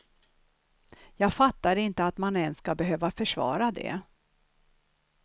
Jag fattar inte att man ens skall behöva försvara det.